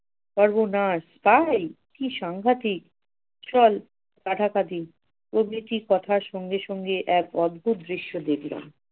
সর্বনাশ তাই? কি সাংঘাতিক চল কথার সঙ্গে সঙ্গে এক অদ্ভুত দৃশ্য দেখলাম